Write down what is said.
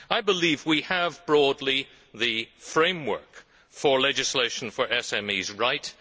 I believe we have, broadly, the framework for legislation for SMEs right.